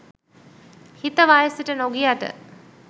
හිත වයසට නොගියට